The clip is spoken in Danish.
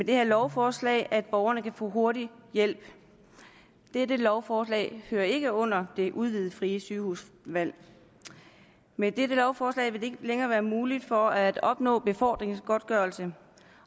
det her lovforslag at borgerne kan få hurtig hjælp og dette lovforslag hører ikke under det udvidede frie sygehusvalg med dette lovforslag vil det ikke længere være muligt for borgerne at opnå befordringsgodtgørelse